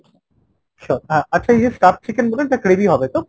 sure। আচ্ছা ইয়ে stuffed chicken বললেন ওটা gravy হবে তো ?